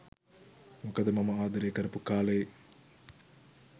මොකද මම ආදරය කරපු කා‍ලේ